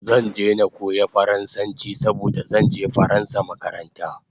Zan je na koya faransanchi saboda zanje faransa makaranta